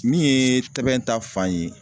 Min ye Tɛbɛn ta fan ye